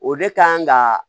O de kan ka